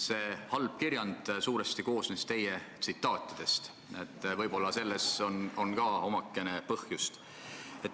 See halb kirjand koosneb suuresti teie tsitaatidest, võib-olla on põhjus omakorda selles.